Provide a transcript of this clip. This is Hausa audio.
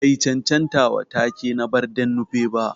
Bai chanchanta wa take na Barden Nupe ba.